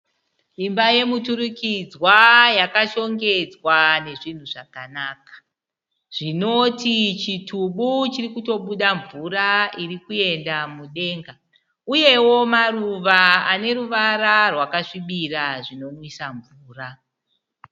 Imba yemuturikidzwa yakashongedzwa nezvinhu zvakanaka, zvinoti chitubu chirikutobuda mvura iri kuenda mudenga, uyewo maruva ane ruvara rwakasvibira zvinonwisa mvura.